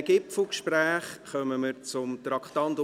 Nach diesen Gipfelgesprächen kommen wir zum Traktandum 76.